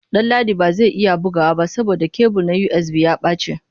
Danladi ba zai iya bugawa ba saboda kebul na USB ya ɓace.